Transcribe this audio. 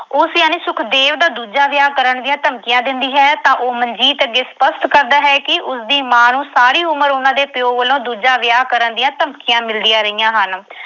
ਉਸ ਯਾਨੀ ਸੁਖਦੇਵ ਦਾ ਦੂਜਾ ਵਿਆਹ ਕਰਨ ਦੀਆਂ ਧਮਕੀਆਂ ਦਿੰਦੀ ਹੈ ਤਾਂ ਉਹ ਮਨਜੀਤ ਅੱਗੇ ਸਪੱਸ਼ਟ ਕਰਦਾ ਹੈ ਕਿ ਉਸਦੀ ਮਾਂ ਨੂੰ ਸਾਰੀ ਉਮਰ ਉਨ੍ਹਾਂ ਦੇ ਪਿਓ ਵੱਲੋਂ ਦੂਜਾ ਵਿਆਹ ਕਰਨ ਦੀਆਂ ਧਮਕੀਆਂ ਮਿਲਦੀਆਂ ਰਹੀਆਂ ਹਨ।